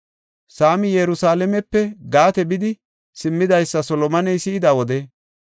Saamii Yerusalaamepe Gaate bidi simmiidaysa Solomoney si7ida wode,